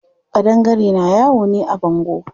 Ƙadangare na yawo ne a bango.